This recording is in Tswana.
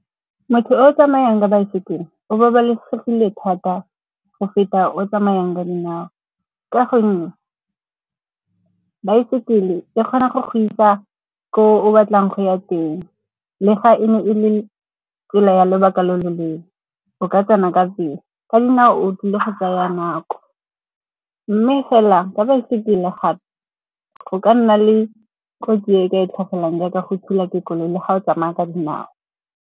Motho yo o tsamayang ka baesekele o babalesegile thata go feta o tsamayang ka dinao. Ka gonne baesekele e kgona go go isa ko o batlang go ya teng, le fa e ne e le tsela ya lobaka lo loleele. O ka tsena ka pele go sena o tlile go tsaya nako. Mme fela ka baesekele gape, go ka nna le kotsi e ka e tlhagelang jaaka go thulwa ke dikoloi le ga o tsamaya ka dinao.